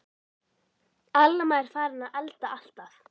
Alma er farin að elda alltaf.